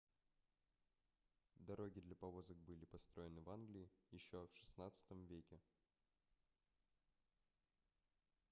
дороги для повозок были построены в англии ещё в xvi веке